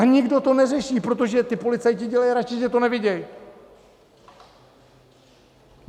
A nikdo to neřeší, protože ti policajti dělají radši, že to nevidí.